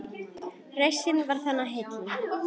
Reisnin var það, heillin